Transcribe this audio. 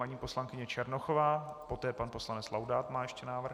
Paní poslankyně Černochová, poté pan poslanec Laudát má ještě návrh.